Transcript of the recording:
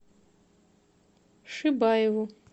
шибаеву